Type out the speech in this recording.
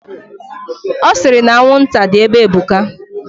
Osiri na anwụnta di ebe ebuka.